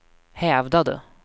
hävdade